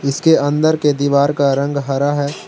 इसके अन्दर के दीवार का रंग हरा है।